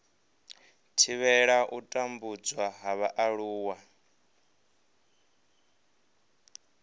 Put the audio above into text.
thivhela u tambudzwa ha vhaaluwa